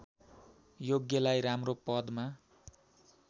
योग्यलाई राम्रो पदमा